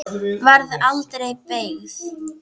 Varð aldregi beygð.